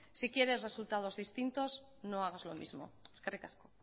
si quieres resultados distintos no hagas lo mismo eskerrik asko